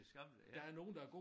Det skammeligt